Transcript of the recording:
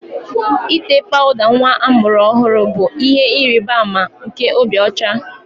Ite pawuda nwa amụrụ ọhụrụ bụ ihe ịrịba ama nke obi ocha